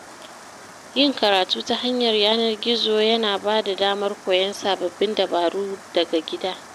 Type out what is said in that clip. Yin karatun ta yanar gizo ya na ba da damar koyon sabbin dabaru daga gida.